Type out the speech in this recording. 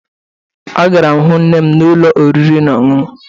Agara m hụ nne m n'ụlọ oriri na ọṅụṅụ